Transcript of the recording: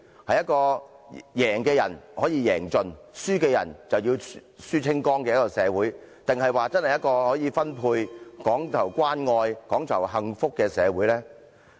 是一個贏的人可以贏盡、輸的人則輸清光的社會，還是一個可以分配，講求關愛、講求幸福的社會呢？